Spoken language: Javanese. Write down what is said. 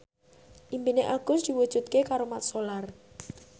impine Agus diwujudke karo Mat Solar